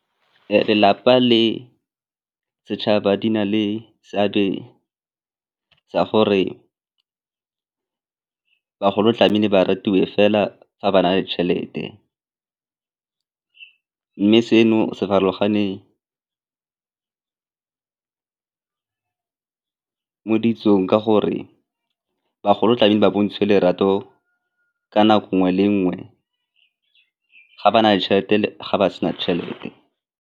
Lelapa le setšhaba di na le seabe sa gore bagolo tlamehile ba rutiwe fela fa ba na le tšhelete mme seno se farologane mo ditsong ka gore bagolo tlamehile ba bontshe lerato ka nako nngwe le nngwe ga ba na le tšhelete ga ba sena tšhelete.